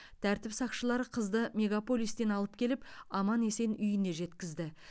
тәртіп сақшылары қызды мегаполистен алып келіп аман есен үйіне жеткізді